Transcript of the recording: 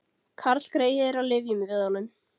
Karlgreyið er á lyfjum við honum